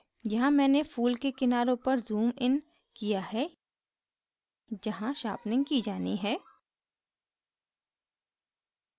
यहाँ मैंने फूल के किनारे पर ज़ूम इन किया है जहाँ sharpening की जानी है